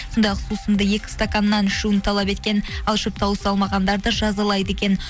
сондай ақ сусынды екі стаканнан ішуін талап еткен ал ішіп тауыса алмағандарды жазалайды екен